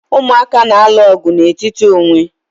Umụaka na-alụ ọgụ n'etiti onwe